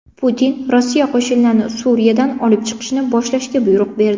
Putin Rossiya qo‘shinlarini Suriyadan olib chiqishni boshlashga buyruq berdi.